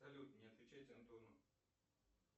салют не отвечать антону